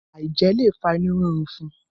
aijẹ lo fa inu rirun fún.